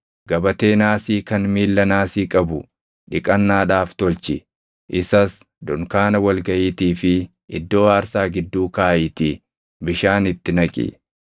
“Gabatee naasii kan miilla naasii qabu dhiqannaadhaaf tolchi. Isas dunkaana wal gaʼiitii fi iddoo aarsaa gidduu kaaʼiitii bishaan itti naqi.